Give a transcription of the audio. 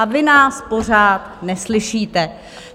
A vy nás pořád neslyšíte.